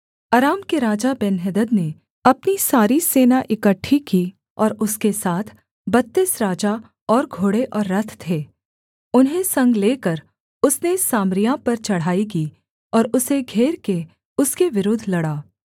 अराम के राजा बेन्हदद ने अपनी सारी सेना इकट्ठी की और उसके साथ बत्तीस राजा और घोड़े और रथ थे उन्हें संग लेकर उसने सामरिया पर चढ़ाई की और उसे घेर के उसके विरुद्ध लड़ा